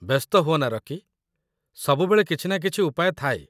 ବ୍ୟସ୍ତ ହୁଅନା, ରକି। ସବୁବେଳେ କିଛି ନା କିଛି ଉପାୟ ଥାଏ।